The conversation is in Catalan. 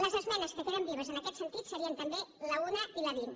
les esmenes que queden vives en aquest sentit serien també l’un i la vint